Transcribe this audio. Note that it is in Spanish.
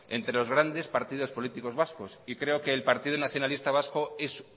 entre los grandes partidos políticos vascos y creo que el partido nacionalista vasco es